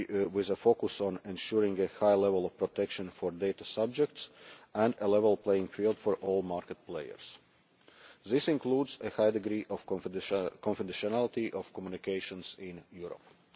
with a focus on ensuring a high level of protection for data subjects and a level playing field for all market players. This includes a high degree of confidentiality of communications in Europe.